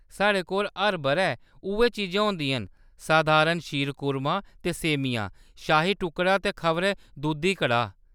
साढ़े कोल हर बʼरै उʼऐ चीजां होंदियां न ; सधारण शीरकुर्मा ते सेमियां, शाही टुकड़ा ते खबरै दूधी कड़ाह्‌‌।